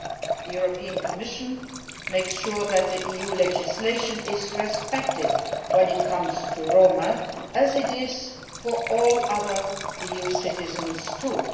The European Commission makes sure that the EU legislation is respected when it comes to the Roma, as it is for all other EU citizens too.